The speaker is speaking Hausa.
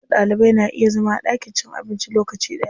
Duka Ɗalibai na iya zama a ɗakin cin abinci lokaci ɗaya.